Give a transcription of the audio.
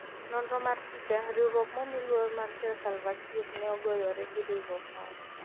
nonro mar picha, riwruok mmiluor mar ker Salva Kiir ne ogoyore gi riwruok moro